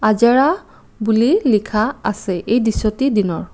আজাৰা বুলি লিখা আছে এই দৃশ্যটি দিনৰ।